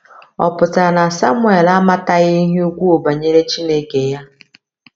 Ọ̀ pụtara na Samuel amataghị ihe ukwuu banyere Chineke ya?